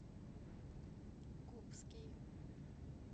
губский